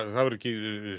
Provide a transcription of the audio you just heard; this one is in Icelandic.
það verður